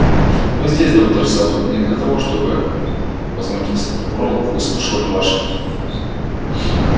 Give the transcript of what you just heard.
мы здесь доктор сэлдон не для того чтобы возмутился прокурор выслушивать ваши